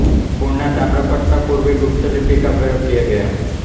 पूना ताम्रपट्ट में पूर्वी गुप्तलिपी का प्रयोग किया गया